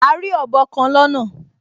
A rí ọ̀bọ kan lọ́nà